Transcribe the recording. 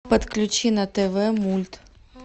подключи на тв мульт